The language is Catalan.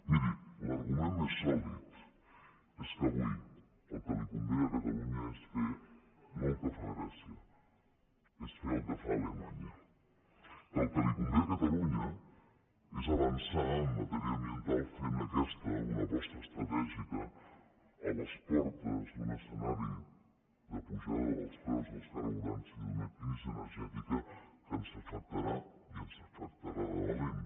miri l’argument més sòlid és que avui el que li convé a catalunya és fer no el que fa grècia és fer el que fa alemanya que el que li convé a catalunya és avançar en matèria ambiental fent d’aquesta una aposta estratègica a les portes d’un escenari d’apujada dels preus dels carburants i d’una crisi energètica que ens afectarà i ens afectarà de valent